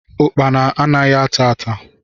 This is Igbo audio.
Ukpana anaghị ata ata